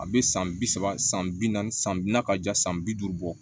A bɛ san bi saba san bi naani san bi na ka ja san bi duuru bɔ